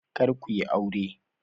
Karka yi aure.